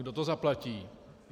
Kdo to zaplatí?